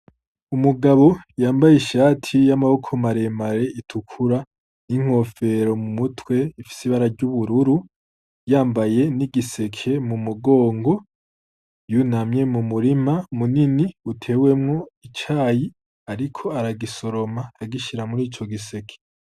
Umugabo yambaye ishati y'amaboko maremare itukura n'inkofero mu mutwe ifise ibarary'ubururu yambaye n'igiseke mu mugongo yunamye mu murima munini utewemwo icayi, ariko aragisoroma agishira muri ico giseke.